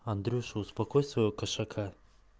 андрюша успокой своего кошака